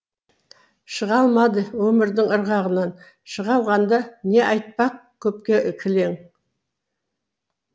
шыға алмады өмірдің ырығынан шыға алғанда не айтпақ көпке кілең